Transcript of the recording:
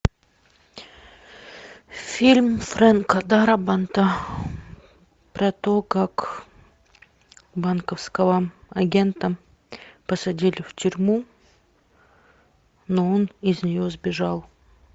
фильм фрэнка дарабонта про то как банковского агента посадили в тюрьму но он из нее сбежал